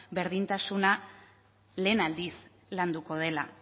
berdintasuna lehen aldiz landuko dela